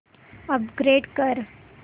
upgrade कर